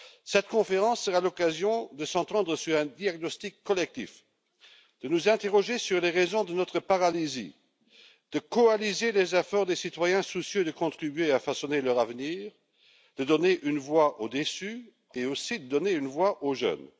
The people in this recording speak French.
Cette conférence sera l'occasion de s'entendre sur un diagnostic collectif, de nous interroger sur les raisons de notre paralysie, de coaliser les efforts des citoyens soucieux de contribuer à façonner leur avenir, de donner une voix aux déçus et aussi de donner une voix aux jeunes.